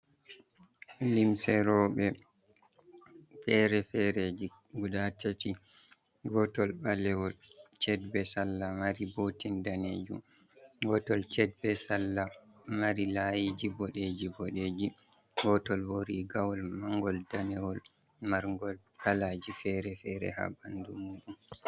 Limse roɓe fere-fereji guda tati. Gotol ɓalewol ched be salla mari botin danejum, gotol ched be salla mari layiji boɗeji-boɗeji, gotol bo rigawol mangol danewol margol kalaji fere-fere haa ɓandu muɗum.